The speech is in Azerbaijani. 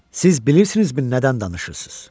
Siz bilirsinizmi nədən danışırsınız?